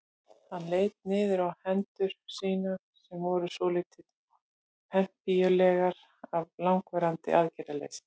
Hann leit niður á hendur sínar sem voru svolítið pempíulegar af langvarandi aðgerðarleysi.